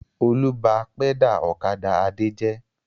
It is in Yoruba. Olú bá pẹ́dà ọ̀kadà Adé jẹ́.